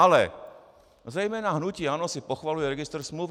Ale zejména hnutí ANO si pochvaluje registr smluv.